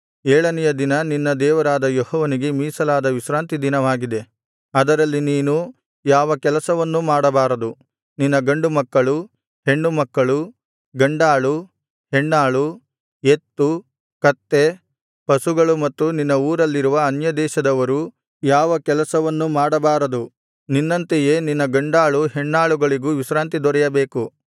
ಏಳನೆಯ ದಿನ ನಿನ್ನ ದೇವರಾದ ಯೆಹೋವನಿಗೆ ಮೀಸಲಾದ ವಿಶ್ರಾಂತಿ ದಿನವಾಗಿದೆ ಅದರಲ್ಲಿ ನೀನು ಯಾವ ಕೆಲಸವನ್ನೂ ಮಾಡಬಾರದು ನಿನ್ನ ಗಂಡುಮಕ್ಕಳು ಹೆಣ್ಣುಮಕ್ಕಳು ಗಂಡಾಳು ಹೆಣ್ಣಾಳು ಎತ್ತು ಕತ್ತೆ ಪಶುಗಳು ಮತ್ತು ನಿನ್ನ ಊರಲ್ಲಿರುವ ಅನ್ಯದೇಶದವರು ಯಾವ ಕೆಲಸವನ್ನೂ ಮಾಡಬಾರದು ನಿನ್ನಂತೆಯೇ ನಿನ್ನ ಗಂಡಾಳು ಹೆಣ್ಣಾಳುಗಳಿಗೂ ವಿಶ್ರಾಂತಿ ದೊರೆಯಬೇಕು